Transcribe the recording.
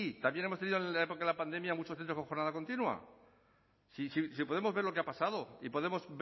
también hemos tenido en la época de la pandemia muchos centros con jornada continua si podemos ver lo que ha pasado y podemos